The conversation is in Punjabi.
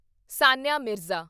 ਸਾਨੀਆ ਮਿਰਜ਼ਾ